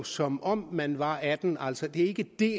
som om man var atten år altså det ikke dér